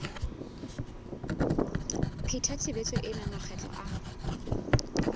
pheta tshebetso ena makgetlo a